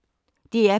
DR P1